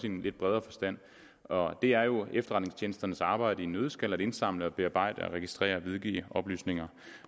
en lidt bredere forstand og det er jo efterretningstjenesternes arbejde i en nøddeskal at indsamle bearbejde registrere og videregive oplysninger